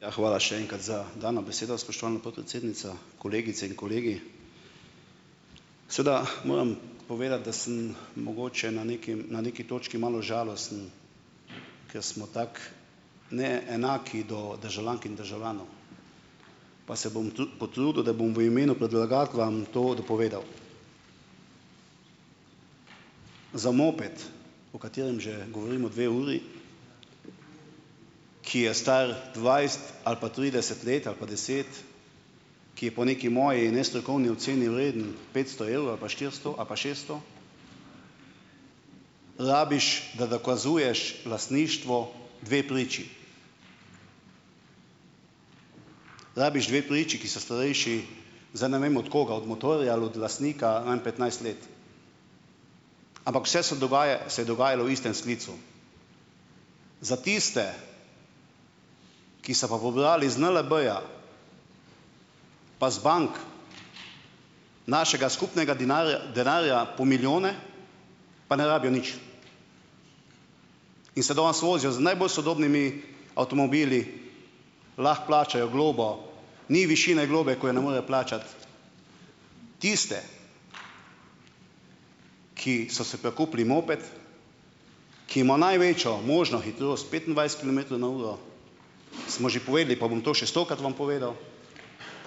Ja, hvala še enkrat za dano besedo, spoštovana podpredsednica, kolegice in kolegi. Seveda moram povedati, da sem mogoče na nekim na neki točki malo žalosten, ker smo tako neenaki do državljank in državljanov, pa se bom tudi potrudil, da bom v imenu predlagatelja to dopovedal. Za moped, o katerem že govorimo dve uri, ki je star dvajset ali pa trideset let ali pa deset, ki je po neki moji nestrokovni oceni vreden petsto evrov ali pa štiristo ali pa šeststo, rabiš, da dokazuješ lastništvo dve priči. Rabiš dve priči, ki sta starejši, zdaj ne vem, od koga, od motorja ali od lastnika, naj petnajst let. Ampak vse se dogaja, se je dogajalo v istem sklicu. Za tiste, ki so pa pobrali iz NLB-ja pa z bank našega skupnega denarja po milijone, pa ne rabijo nič in se danes vozijo z najbolj sodobnimi avtomobili, lahko plačajo globo, ni višine globe, ko jo ne morejo plačati. Tiste, ki so si prikupili moped, ki ima največjo možno hitrost petindvajset kilometrov na uro, smo že povedali, pa bom to še stokrat vam povedal,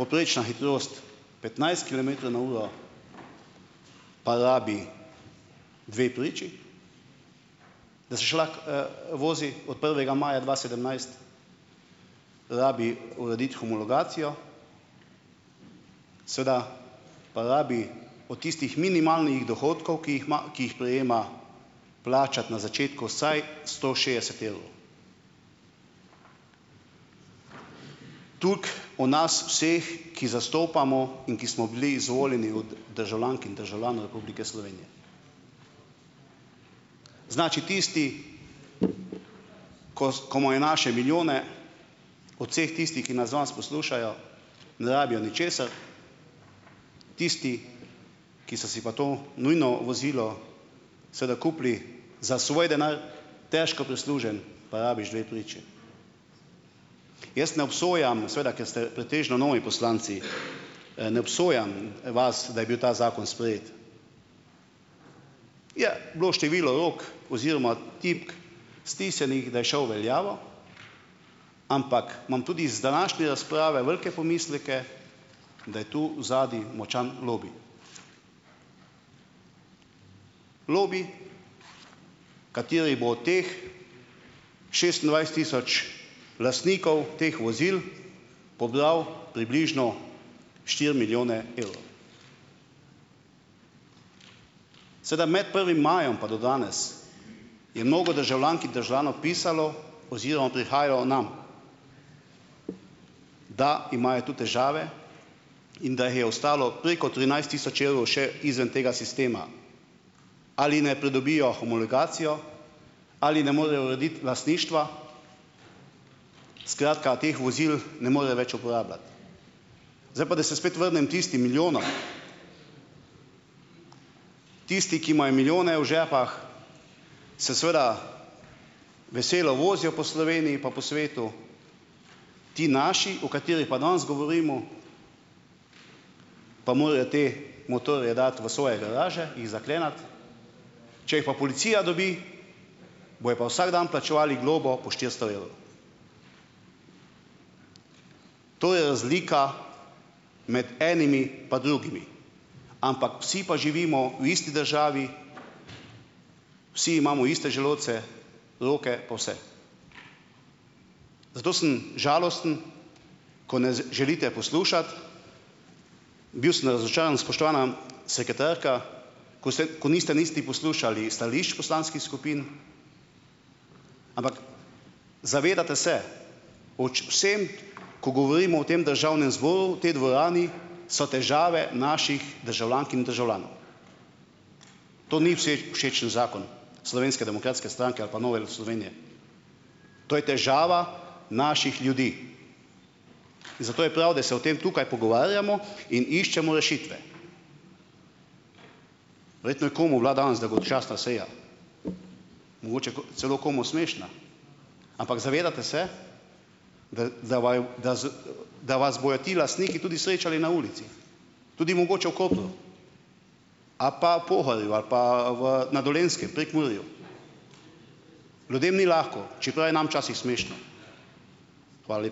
povprečna hitrost petnajst kilometrov na uro, pa rabi dve priči, da se še lahko, vozi, od prvega maja dva sedemnajst, rabi urediti homologacijo, seveda pa rabi od tistih minimalnih dohodkov, ki jih ima, ki jih prejema, plačati na začetku vsaj sto šestdeset evrov. Toliko o nas vseh, ki zastopamo in ki smo bili izvoljeni od državljank in državljanov Republike Slovenije. Znači, tisti ko imajo naše milijone, od vseh tistih, ki nas danes poslušajo, ne rabijo ničesar, tisti, ki so si pa to nujno vozilo seveda kupili za svoj denar, težko prislužen, pa rabiš dve priči. Jaz ne obsojam, seveda ker ste pretežno novi poslanci, ne obsojam vas, da je bil ta zakon sprejet. Je bilo je število rok oziroma tipk stisnjenih, da je šel v veljavo, ampak imam tudi iz današnje razprave velike pomisleke, da je to odzadaj močan lobi. Lobi, kateri bo od teh šestindvajset tisoč lastnikov teh vozil pobral približno štiri milijone evrov. Seveda med prvim majem pa do danes, je mnogo državljank in državljanov pisalo oziroma prihajajo nam, da imajo tu težave in da jih je ostalo preko trinajst tisoč evrov še izven tega sistema. Ali naj pridobijo homologacijo ali ne morejo urediti lastništva, skratka, teh vozil ne morejo več uporabljati. Zdaj pa, da se spet vrnem tistim milijonom. Tisti, ki imajo milijone v žepih, se seveda veselo vozijo po Sloveniji pa po svetu, ti naši, o katerih pa danes govorimo, pa morejo te motorje dati v svoje garaže, jih zakleniti, če jih pa policija dobi, bojo pa vsak dan plačevali globo po štiristo evrov. To je razlika med enimi pa drugimi, ampak vsi pa živimo v isti državi, vsi imamo iste želodce, roke pa vse. Zato sem žalosten, ko ne želite poslušati. Bil sem razočaran, spoštovana sekretarka, ko se ko niste niste poslušali stališč poslanskih skupin, ampak zavedate se o vsem, ko govorimo v tem državnem zboru tej dvorani, so težave naših državljank in državljanov. To ni vseh všečen zakon Slovenske demokratske stranke ali pa Nove Slovenije, to je težava naših ljudi in zato je prav, da se o tem tukaj pogovarjamo in iščemo rešitve. Verjetno je komu bila danes dolgočasna seja, mogoče ko celo komu smešna, ampak zavedate se, da vas bojo ti lastniki tudi srečali na ulici, tudi mogoče v Kopru ali pa Pohorju ali pa v na Dolenjskem, Prekmurju. Ljudem ni lahko, čeprav je nam včasih smešno. Hvala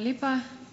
lepa.